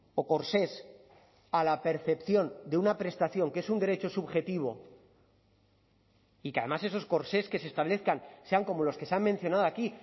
o corsés a la percepción de una prestación que es un derecho subjetivo y que además esos corsés que se establezcan sean como los que se han mencionado aquí